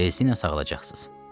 Tezliklə sağalacaqsız.